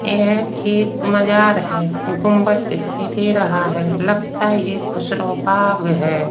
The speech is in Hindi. यह एक मजार है। गुंबद दिखाई दे रहा है। लगता है यह खुशरोबाग है।